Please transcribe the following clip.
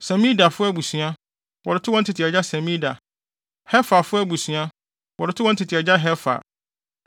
Semidafo abusua, wɔde too wɔn tete agya Semida; Heferfo abusua, wɔde too wɔn tete agya Hefer.